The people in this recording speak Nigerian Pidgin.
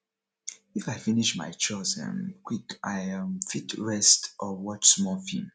if i finish my chores um quick i um fit rest or watch film small